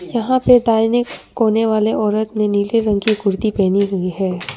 जहां पे दाहिने कोने वाले औरत ने नीले रंग की कुर्ती पहनी हुई है।